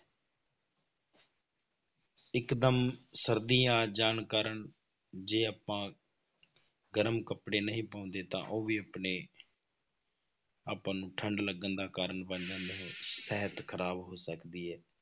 ਇੱਕਦਮ ਸਰਦੀ ਆ ਜਾਣ ਕਾਰਨ ਜੇ ਆਪਾਂ ਗਰਮ ਕੱਪੜੇ ਨਹੀਂ ਪਾਉਂਦੇ ਤਾਂ ਉਹ ਵੀ ਆਪਣੇ ਆਪਾਂ ਨੂੰ ਠੰਢ ਲੱਗਣ ਦਾ ਕਾਰਨ ਬਣ ਜਾਂਦਾ ਹੈ ਸਿਹਤ ਖ਼ਰਾਬ ਹੋ ਸਕਦੀ ਹੈ।